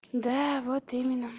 да вот именно